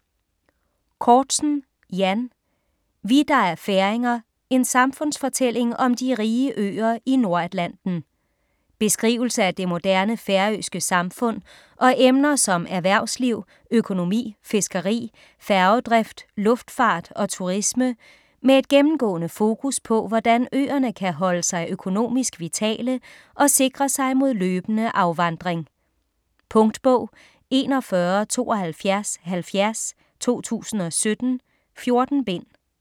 Cortzen, Jan: Vi, der er færinger: en samfundsfortælling om de rige øer i Nordatlanten Beskrivelse af det moderne færøske samfund og emner som erhvervsliv, økonomi, fiskeri, færgedrift, luftfart og turisme - med et gennemgående fokus på hvordan øerne kan holdes sig økonomisk vitale og sikre sig mod løbende afvandring. Punktbog 417270 2017. 14 bind.